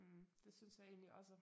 Mh det synes jeg egentlig også